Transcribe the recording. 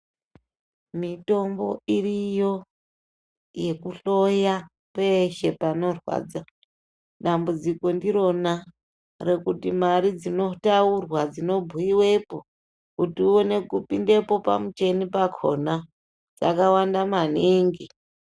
Mitombo iriyo yekuhloya peshe panorwadza dambudziko ndiro mari dzino bhuyiwepo kuti uone kupinde pamuchini pachona dzakawanda maningi .